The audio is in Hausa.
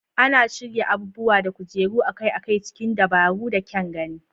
Ana shirya abubuwa da kujeru akai-akai cikin dabaru da kyan gani.